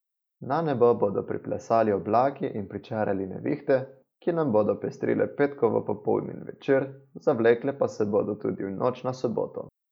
Na nebo bodo priplesali oblaki in pričarali nevihte, ki nam bodo pestrile petkovo popoldne in večer, zavlekle pa se bodo tudi v noč na soboto.